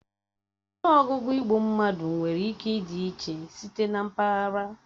Ọnụọgụgụ igbu mmadụ nwere ike ịdị iche site na mpaghara